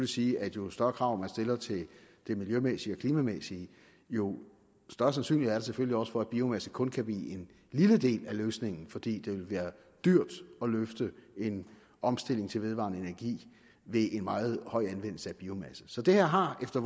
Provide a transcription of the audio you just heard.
sige at jo større krav man stiller til det miljømæssige og klimamæssige jo større sandsynlighed er der selvfølgelig også for at biomasse kun kan blive en lille del af løsningen fordi det vil være dyrt at løfte en omstilling til vedvarende energi ved en meget høj anvendelse af biomasse så det her har efter